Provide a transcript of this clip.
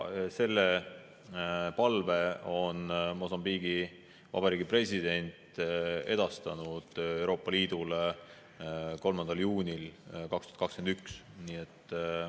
Selle palve on Mosambiigi Vabariigi president edastanud Euroopa Liidule 3. juunil 2021.